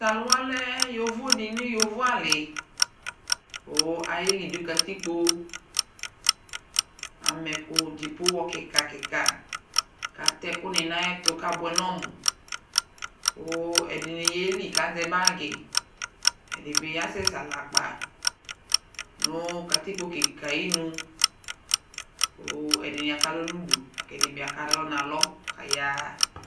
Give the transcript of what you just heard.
Taluwa lɛ yovo di nʋ yovo'aliKʋ ayeli nʋ katikpoAma ɛkʋ , dziƒo hɔ kika kikaKatɛ ɛkʋ ni nayɛtu kabuɛ nɔmuKʋ ɛdini yeli kazɛ bagiƐdibi asɛsɛ aɣlakpa Nʋ katikpo kikɛ ayinuKʋ ɛdini akalɔ nudu, kɛdini akalɔ nalɔ kayaɣa